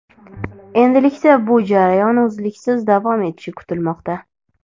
Endilikda bu jarayon uzluksiz davom etishi kutilmoqda.